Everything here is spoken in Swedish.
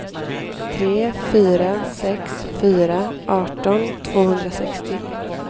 tre fyra sex fyra arton tvåhundrasextio